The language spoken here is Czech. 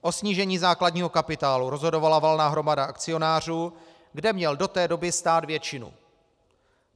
O snížení základního kapitálu rozhodovala valná hromada akcionářů, kde měl do té doby stát většinu.